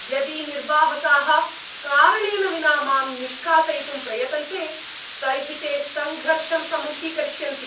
यदि निर्वाहकाः कारणेन विना मां निष्कासयितुं प्रयतन्ते तर्हि ते सङ्घर्षं सम्मुखीकरिष्यन्ति।